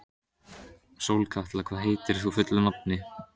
Sólkatla, hvað heitir þú fullu nafni?